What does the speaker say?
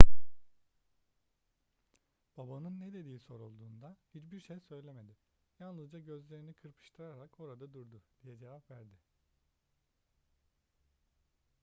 babanın ne dediği sorulduğunda hiçbir şey söyleyemedi yalnızca gözlerini kırpıştırarak orada durdu diye cevap verdi